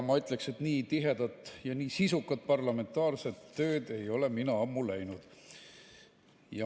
Ma ütleksin, et nii tihedat ja nii sisukat parlamentaarset tööd ei ole mina ammu näinud.